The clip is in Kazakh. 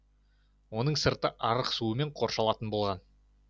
оның сырты арық суымен қоршалатын болған